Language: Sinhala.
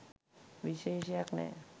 විශේෂයක් නැහැ.